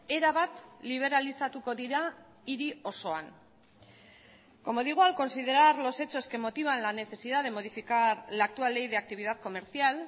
erabat liberalizatuko dira hiri osoan como digo al considerar los hechos que motivan la necesidad de modificar la actual ley de actividad comercial